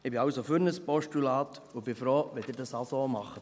Ich bin also für ein Postulat und bin froh, wenn Sie es auch so machen.